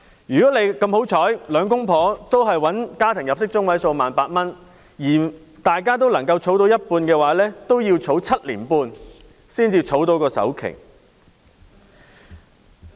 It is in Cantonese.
如果兩夫婦幸運地都賺取家庭入息中位數的 18,000 元，又能夠儲蓄收入的一半，都要7年半才可以儲蓄到首期。